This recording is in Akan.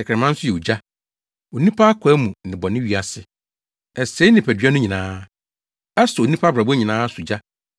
Tɛkrɛma nso yɛ ogya, onipa akwaa mu nnebɔne wiase. Ɛsɛe nipadua no nyinaa; ɛsɔ onipa abrabɔ nyinaa so gya